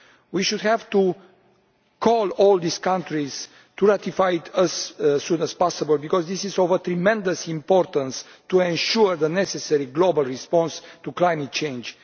We should call on all these countries to ratify as soon as possible, because this is of tremendous importance to ensure the necessary global response to climate change.